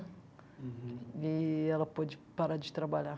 Uhum. Eee ela pôde parar de trabalhar.